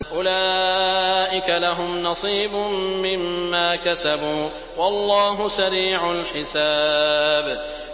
أُولَٰئِكَ لَهُمْ نَصِيبٌ مِّمَّا كَسَبُوا ۚ وَاللَّهُ سَرِيعُ الْحِسَابِ